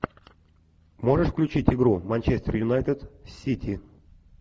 можешь включить игру манчестер юнайтед сити